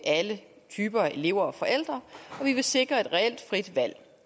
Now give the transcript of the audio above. alle typer af elever og forældre vi vil sikre et reelt frit valg